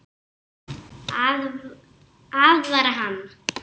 Aðvarar hana.